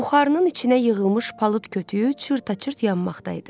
Buxarının içinə yığılmış palıd kütüyü çırt-çırt yanmaqda idi.